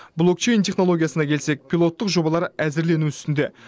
блокчейн технологиясына келсек пилоттық жобалар әзірлену үстінде